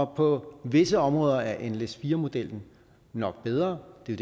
på visse områder er nles4 modellen nok bedre det er